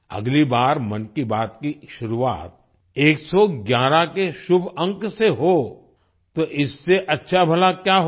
अगली बार मन की बात की शुरुआत 111 के शुभ अंक से हो तो इससे अच्छा भला क्या होगा